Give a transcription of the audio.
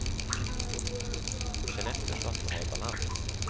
Känn efter så att du har balans.